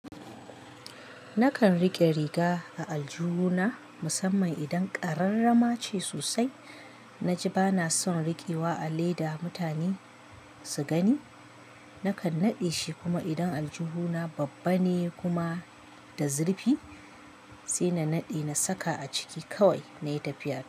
Nakan rike riga a aljihu na, musamman idan ƙararrama ce sosai. Na ji bana son rikewa a leda mutane su gani. Nakan naɗe shi kuma idan aljihu na babba ne kuma da zurfi, sai na naɗe na saka a ciki kawai nayi tafiya da ita.